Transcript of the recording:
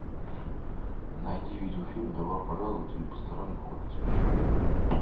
найди видеофильм добро пожаловать или посторонним вход воспрещен